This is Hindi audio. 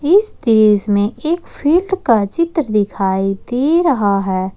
इस दृश्य में एक फील्ड का चित्र दिखाई दे रहा है।